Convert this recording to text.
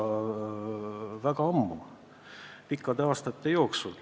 See on kestnud pikki aastaid.